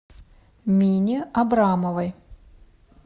мине абрамовой